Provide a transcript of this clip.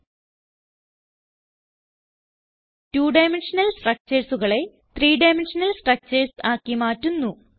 two dimensional structuresകളെ three dimensional structures ആക്കി മാറ്റുന്നു